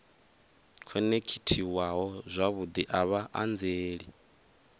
khonekhithiwaho zwavhudi a vha anzeli